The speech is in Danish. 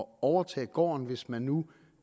overtage gården hvis man nu